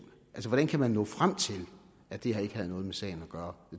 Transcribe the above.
altså hvordan kan man nå frem til at det her ikke havde noget med sagen at gøre